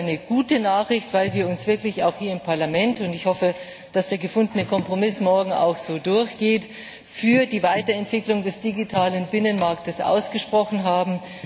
Das ist eine gute Nachricht, weil wir uns wirklich hier im Parlament und ich hoffe, dass der gefundene Kompromiss morgen auch so durchgeht für die Weiterentwicklung des digitalen Binnenmarktes ausgesprochen haben.